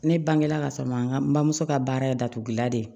Ne bangela ka sɔrɔ ma bamuso ka baara ye datugulan de ye